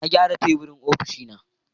Na gyara teburin ofishina